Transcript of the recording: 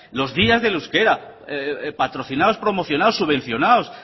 los días del euskera patrocinados promocionados subvencionados